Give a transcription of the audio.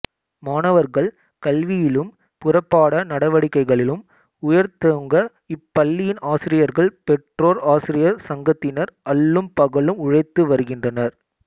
மாணவர்கள் கல்வியிலும் புறப்பாட நடவடிக்கைகளிலும் உயர்ந்தோங்க இப்பள்ளியின் ஆசிரியர்கள் பெற்றோர் ஆசிரியர் சங்கத்தினர் அல்லும் பகலும் உழைத்து வருகின்றனர்